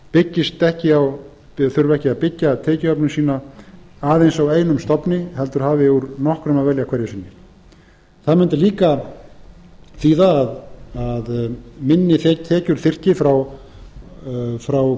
þannig að ríkisútvarpið þurfi ekki að byggja tekjuöflun sína aðeins á einum stofni heldur hafi úr nokkrum að velja hverju sinni það mundi líka þýða að minni tekjur þyrfti frá hverri